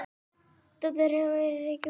Dóttir þeirra er Rakel.